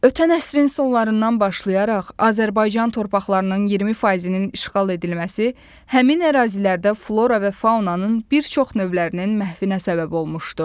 Ötən əsrin sonlarından başlayaraq Azərbaycan torpaqlarının 20%-nin işğal edilməsi, həmin ərazilərdə flora və faunanın bir çox növlərinin məhvinə səbəb olmuşdu.